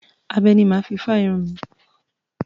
Abẹ ni mà á fi fá irun mi.